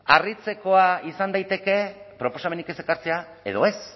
harritzekoa izan daiteke proposamenik ez ekartzea edo ez